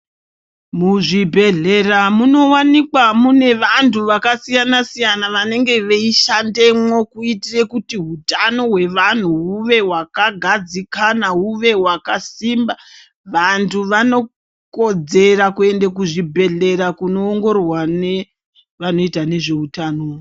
Muzvibhedhlera munowanikwa mune vantu vakasiyana siyana vanenge veishandemwo kuitire kuti utano hwevanhu huve wakagadzikana uve wakasimba, vantu vanokodzera kuende kuzvibhedhlera kuno ongororwa nevanoita nezveutano.